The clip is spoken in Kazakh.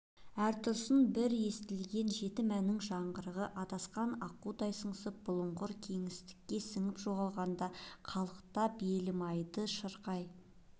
әр тұстан бір естілген жетім әннің жаңғырығы адасқан аққудай сыңсып бұлыңғыр кеңістікке сіңіп жоғалғанда қалықтатып елім-айды шырқай